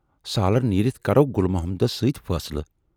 سالٔرۍ نیٖرِتھ کرو گُل محمدس سۭتۍ فٲصلہٕ۔